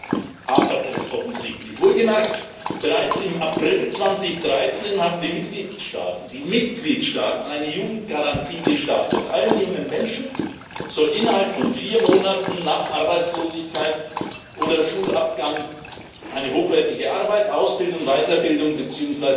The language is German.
Daran hapert es offensichtlich. Wohlgemerkt Bereits im April 2013 haben die Mitgliedstaaten eine Jugendgarantie gestartet Allen jungen Menschen soll innerhalb von vier Monaten nach Arbeitslosigkeit oder Schulabgang eine hochwertige Arbeit, Ausbildung, Weiterbildung bzw.